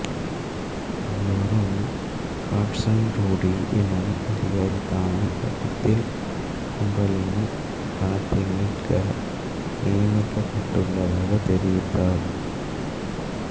அங்கு வரும் Carson Woody எனும் அதிகாரி தான் கடத்தல் கும்பலின் பணத்தை மீட்க நியமிக்கப்பட்டுள்ளதாக தெரிவிக்கிறார்